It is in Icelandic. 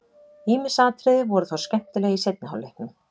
Ýmis atriði voru þó skemmtileg í seinni hálfleiknum.